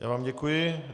Já vám děkuji.